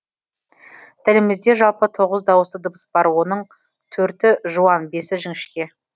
тілімізде жалпы тоғыз дауысты дыбыс бар оның төрті жуан бесі жіңішке